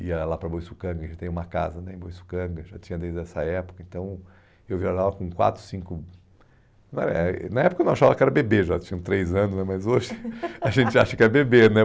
ia lá para Boiçocanga, que já tem uma casa né em Boiçocanga, já tinha desde essa época, então eu viajava com quatro, cinco... Não era, na época eu não achava que era bebê, já tinham três anos né, mas hoje a gente acha que é bebê, né?